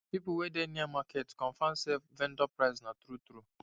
people wey dey near market confirm say vendor price na true true